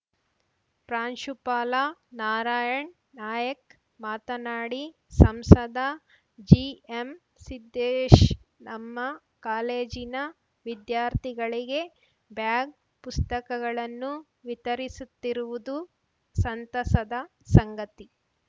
ಪ್ರಾಂಶುಪಾಲ ನಾರಾಯಣ್‌ ನಾಯಕ್ ಮಾತನಾಡಿ ಸಂಸದ ಜಿಎಂ ಸಿದ್ಧೇಶ್ ನಮ್ಮ ಕಾಲೇಜಿನ ವಿದ್ಯಾರ್ಥಿಗಳಿಗೆ ಬ್ಯಾಗ್‌ ಪುಸ್ತಕಗಳನ್ನು ವಿತರಿಸುತ್ತಿರುವುದು ಸಂತಸದ ಸಂಗತಿ